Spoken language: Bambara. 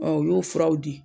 Ɔ u y'o furaw di